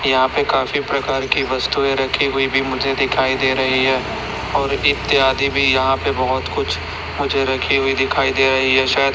यहां पर काफी प्रकार की वस्तुएं रखी हुई भी मुझे दिखाई दे रही है और इत्यादि भी यहां पे बहोत कुछ मुझे रखी हुई दिखाई दे रही है शायद --